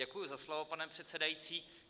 Děkuji za slovo, pane předsedající.